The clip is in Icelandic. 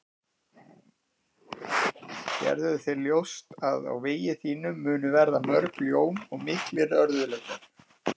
Gerðu þér ljóst að á vegi þínum munu verða mörg ljón og miklir örðugleikar.